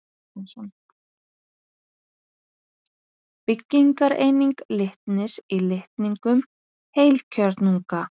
Byggingareining litnis í litningum heilkjörnunga.